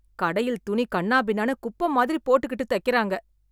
கடையில் துணி கண்ணாபின்னானு குப்பமாதிரி போட்டுக்கிட்டு தக்கிறாங்க.